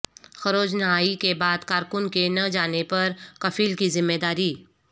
خروج نہائی کے بعد کارکن کے نہ جانے پر کفیل کی ذمہ داری